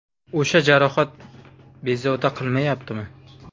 O‘sha jarohat bezovta qilmayaptimi?